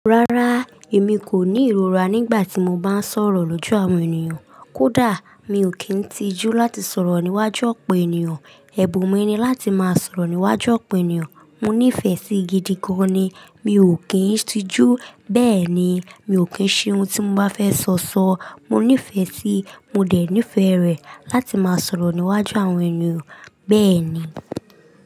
Rárá, èmi kò ní ìrora nígbà tí mo bá ń sọ̀rọ̀ lójú àwọn ènìyàn. Kódà mi ò kí ń tijú láti sọ̀rọ̀ níwájú ọ̀pọ̀ ènìyàn. Ẹ̀bùn mi ni láti máa sọ̀rọ̀ níwájú ọ̀pọ̀ ènìyàn. Mo nífẹ̀ẹ́ sí i gidi gan-an ni. Mi ò kí ń tijú, bẹ́ẹ̀ ni, mi ò kí ń ṣe ohun tí mo bá fẹ́ sọ sọ. Mo nífẹ̀ẹ́ sí i, mo dẹ̀ nífẹ̀ẹ́ rẹ̀ láti máa sọ̀rọ̀ níwájú àwọn ènìyàn, bẹ́ẹ̀ ni.